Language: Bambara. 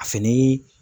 A fini